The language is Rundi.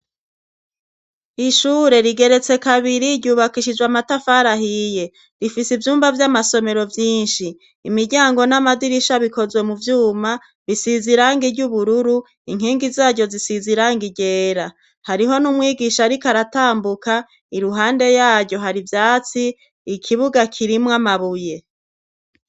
Ishure rigeretse kabiri ryubakishijwe amatafarahiye rifise ivyumba vy'amasomero vyinshi imiryango n'amadirisha bikozwe mu vyuma bisizirangi ry'ubururu inkingi zaryo zisizirang igera hariho n'umwigisha rikaratambuka iruhande yaryo hari vyatsi ikibuga kirimwamabuye.